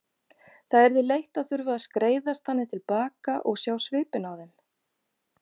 Það yrði leitt að þurfa að skreiðast þannig til baka og sjá svipinn á þeim.